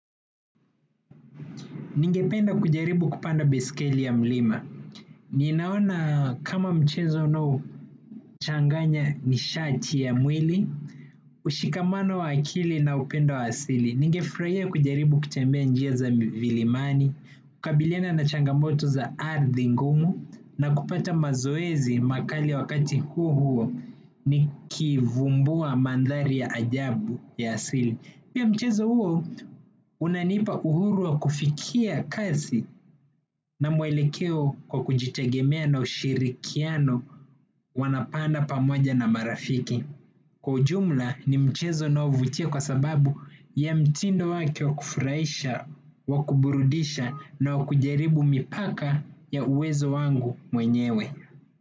Ningependa kujaribu kupanda baiskeli ya mlima. Ninaona kama mchezo unaochanganya nishati ya mwili, ushikamano wa akili na upendo wa asili. Ningefurahia kujaribu kutembea njia za milimani, kukabiliana na changamoto za ardhi ngumu, na kupata mazoezi makali wakati huo huo ni kivumbua mandhari ya ajabu ya asili. Pia mchezo huo unanipa uhuru wa kufikia kazi na mwelekeo kwa kujitegemea na ushirikiano wanapanda pamoja na marafiki. Kwa ujumla ni mchezo unaovutia kwa sababu ya mtindo wake wa kufurahisha, wa kuburudisha na wakujaribu mipaka ya uwezo wangu mwenyewe.